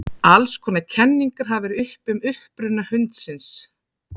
Alls konar kenningar hafa verið uppi um uppruna hundsins.